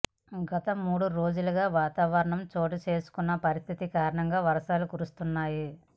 గత మూడు రోజులుగా వాతావరణంలో చోటు చేసుకున్న పరిస్థితుల కారణంగా వర్షాలు కురుస్తున్నాయి